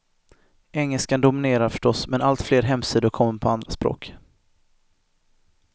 Engelskan dominerar förstås, men allt fler hemsidor kommer på andra språk.